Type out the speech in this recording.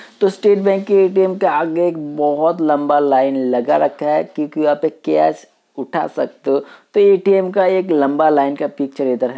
तो स्टेट बैंक के ए.टी.एम. के आगे एक बहोत लम्बा लाइन लगा रखा है। क्योंकि वहाँ पे कैश उठा सकते हो। तो ए.टी.एम. का एक लम्बा लाइन का पिक्चर इधर है।